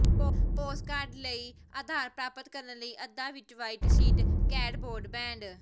postcard ਲਈ ਆਧਾਰ ਪ੍ਰਾਪਤ ਕਰਨ ਲਈ ਅੱਧਾ ਵਿਚ ਵ੍ਹਾਈਟ ਸ਼ੀਟ ਕੈਟਬੋਰਡ ਬੈਂਡ